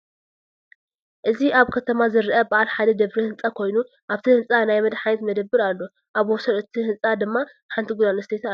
እዚ አብ ከተማ ዝረአ በዓል ሓደ ደብሪ ህንፃ ኮይኑ አብቲ ህንፃ ናይ መድሓኒት መደብር አሎ፡፡ አብ ወሰን እቲ ህንፃ ድኛ ሓንቲ ጓል አንስተይቲ አላ፡፡